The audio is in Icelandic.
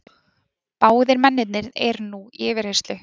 Báðir mennirnir eru nú í yfirheyrslu